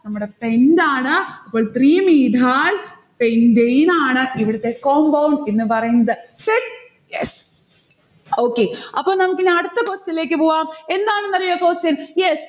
നമ്മുടെ pent ആണ്. അപ്പൊൾ three methyl pentane ആണ് ഇവിടുത്തെ compound എന്ന് പറയുന്നത്. set yes okay അപ്പൊ നമുക്കിനി അടുത്ത question ലേക്ക് പോകാം. എന്താണ് next question. yes.